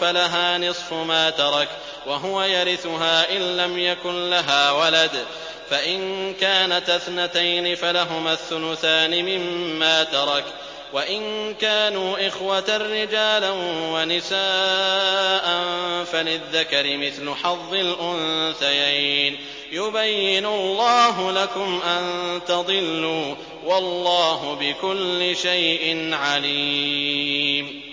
فَلَهَا نِصْفُ مَا تَرَكَ ۚ وَهُوَ يَرِثُهَا إِن لَّمْ يَكُن لَّهَا وَلَدٌ ۚ فَإِن كَانَتَا اثْنَتَيْنِ فَلَهُمَا الثُّلُثَانِ مِمَّا تَرَكَ ۚ وَإِن كَانُوا إِخْوَةً رِّجَالًا وَنِسَاءً فَلِلذَّكَرِ مِثْلُ حَظِّ الْأُنثَيَيْنِ ۗ يُبَيِّنُ اللَّهُ لَكُمْ أَن تَضِلُّوا ۗ وَاللَّهُ بِكُلِّ شَيْءٍ عَلِيمٌ